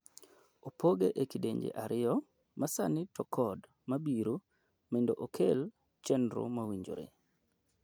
opoge e kidienje ariyo, masani to kod mabiro mindo okel chenro mowinjore.